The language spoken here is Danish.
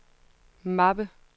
mappe